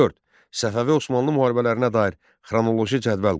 Səfəvi Osmanlı müharibələrinə dair xronoloji cədvəl qur.